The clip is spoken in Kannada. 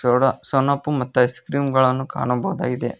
ಇದರೊಳಗ ಸನಪು ಮತ್ತು ಐಸ್ ಕ್ರೀಮ್ ಗಳನ್ನು ಕಾಣಬಹುದಾಗಿದೆ.